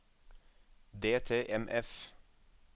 DTMF